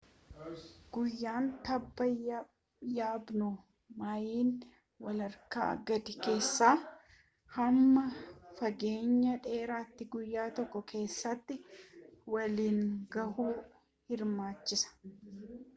guyyaan tabba yaabun maayila walakka gadii kaasee hamma fageenya dheeratti guyyya tokko keessatti waliin gahuu hirmaachisa